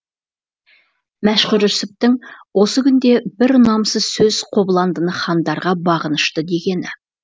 мәшһүр жүсіптің осы күнде бір ұнамсыз сөз қобыландыны хандарға бағынышты дегені